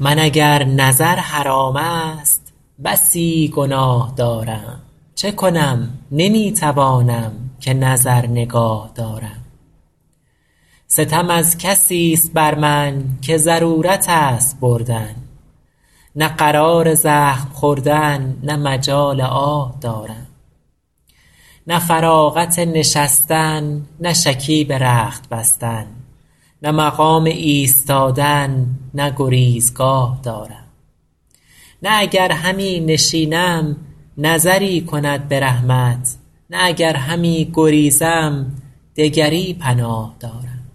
من اگر نظر حرام است بسی گناه دارم چه کنم نمی توانم که نظر نگاه دارم ستم از کسیست بر من که ضرورت است بردن نه قرار زخم خوردن نه مجال آه دارم نه فراغت نشستن نه شکیب رخت بستن نه مقام ایستادن نه گریزگاه دارم نه اگر همی نشینم نظری کند به رحمت نه اگر همی گریزم دگری پناه دارم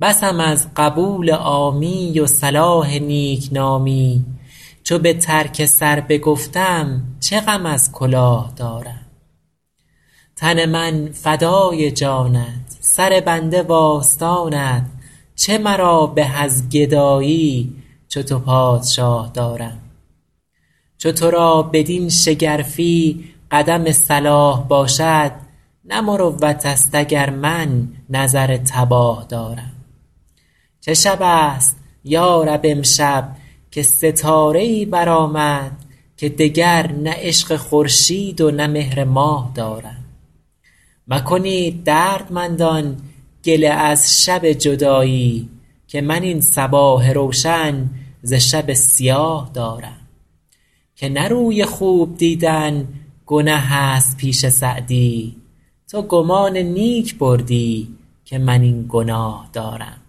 بسم از قبول عامی و صلاح نیکنامی چو به ترک سر بگفتم چه غم از کلاه دارم تن من فدای جانت سر بنده وآستانت چه مرا به از گدایی چو تو پادشاه دارم چو تو را بدین شگرفی قدم صلاح باشد نه مروت است اگر من نظر تباه دارم چه شب است یا رب امشب که ستاره ای برآمد که دگر نه عشق خورشید و نه مهر ماه دارم مکنید دردمندان گله از شب جدایی که من این صباح روشن ز شب سیاه دارم که نه روی خوب دیدن گنه است پیش سعدی تو گمان نیک بردی که من این گناه دارم